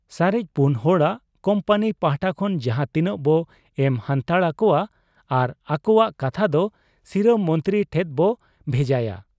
ᱥᱟᱨᱮᱡ ᱯᱩᱱ ᱦᱚᱲᱟᱜ ᱠᱩᱢᱯᱟᱹᱱᱤ ᱯᱟᱦᱴᱟ ᱠᱷᱚᱱ ᱡᱟᱦᱟᱸ ᱛᱤᱱᱟᱹᱜ ᱵᱚ ᱮᱢ ᱦᱟᱱᱛᱟᱲ ᱟᱠᱚᱣᱟ ᱟᱨ ᱟᱠᱚᱣᱟᱜ ᱠᱟᱛᱷᱟ ᱫᱚ ᱥᱤᱨᱟᱹ ᱢᱚᱱᱛᱨᱤ ᱴᱷᱮᱫ ᱵᱚ ᱱᱷᱮᱡᱟᱭᱟ ᱾